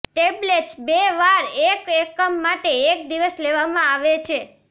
tablets બે વાર એક એકમ માટે એક દિવસ લેવામાં આવે છે